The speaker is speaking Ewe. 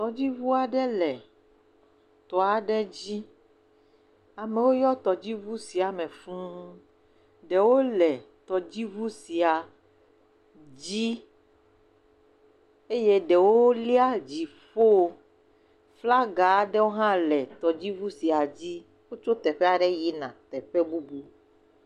Tɔdziŋu aɖe le tɔ aɖe dzi. Amewo yɔ tɔdziŋu sia me fũu. Ɖewo le tɔdziŋu sia dzi eye ɖewo lia dziƒo. Flaga aɖewo hã le tɔdziŋu sia dzi wotsɔ teƒe aɖe yina teƒe bubu.